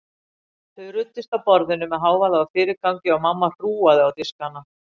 Þau ruddust að borðinu með hávaða og fyrirgangi og mamma hrúgaði á diskana.